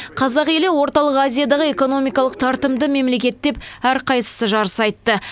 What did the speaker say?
қазақ елі орталық азиядағы экономикалық тартымды мемлекет деп әрқайсысы жарыса айтты